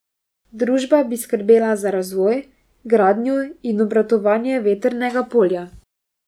Družba bi skrbela za razvoj, gradnjo in obratovanje vetrnega polja.